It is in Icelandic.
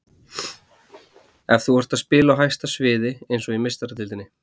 Ef þú ert að spila á hæsta sviði, eins og í Meistaradeildinni.